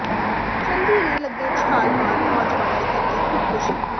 ਚਲਦੀ ਰੇਲ ਅੱਗੇ ਛਾਲ ਮਾਰ ਨੌਜਵਾਨ ਨੇ ਕੀਤੀ ਖ਼ੁਦਕੁਸ਼ੀ